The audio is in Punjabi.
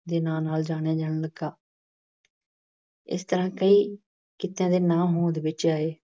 ਦੇ ਨਾਂ ਨਾਲ ਜਾਣਿਆ ਜਾਣ ਲੱਗਾ। ਇਸ ਤਰ੍ਹਾਂ ਕਈ ਕਿੱਤਿਆਂ ਦੇ ਨਾਂ ਹੋਂਦ ਵਿੱਚ ਆਏ।